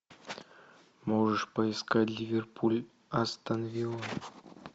можешь поискать ливерпуль астон вилла